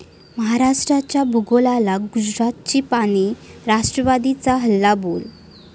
महाराष्ट्राच्या भूगोलाला गुजरातची पाने? राष्ट्रवादीचा हल्लाबोल